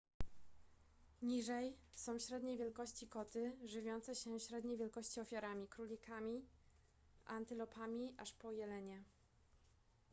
niżej są średniej wielkości koty żywiące się średniej wielkości ofiarami królikami antylopami aż po jelenie